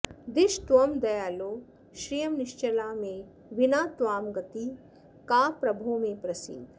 दिश त्वं दयालो श्रियं निश्चलां मे विना त्वां गतिः का प्रभो मे प्रसीद